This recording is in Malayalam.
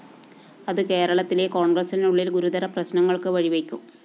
അത്‌ കേരളത്തിലെ കോണ്‍ഗ്രസ്സിനുള്ളില്‍ ഗുരുതര പ്രശ്നങ്ങള്‍ക്ക്‌ വഴിവയ്ക്കും